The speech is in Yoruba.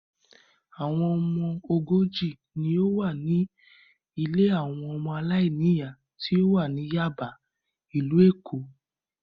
Àwọn ọmọ ogójì ni ó wà ní ilé àwọn ọmọ aláìníìyá tí ó wà ní Yáàbá, ìlú Èkó.